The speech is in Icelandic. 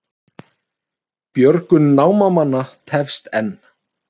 Björgun námamanna tefst enn